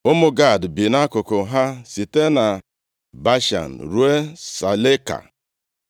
Ụmụ Gad bi nʼakụkụ ha site na Bashan ruo Saleka.